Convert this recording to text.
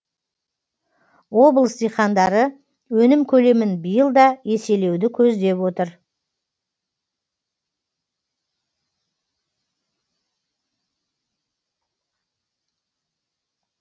облыс диқандары өнім көлемін биыл да еселеуді көздеп отыр